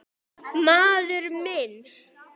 Maður minn.